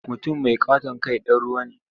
Mutum mai ƙaton kai ɗan ruwa ne.